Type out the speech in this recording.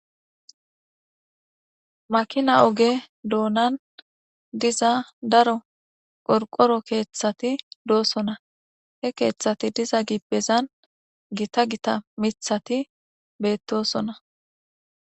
Makina oge doonan diza daro qorqoro keeththati he keeththati diza gibbezan gita gita miththati beettosona.